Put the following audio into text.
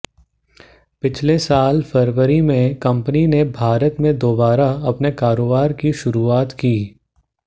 पिछले साल फरवरी में कंपनी ने भारत में दोबारा अपने कारोबार की शुरुआत की थी